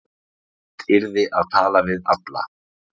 Fyrst yrði að tala við alla